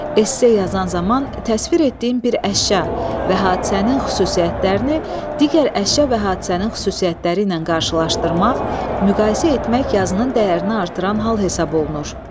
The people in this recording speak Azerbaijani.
Esse yazan zaman təsvir etdiyin bir əşya və hadisənin xüsusiyyətlərini digər əşya və hadisənin xüsusiyyətləri ilə qarşılaşdırmaq, müqayisə etmək yazının dəyərini artıran hal hesab olunur.